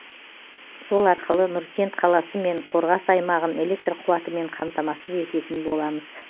сол арқылы нұркент қаласы мен қорғас аймағын электр қуатымен қамтамасыз ететін боламыз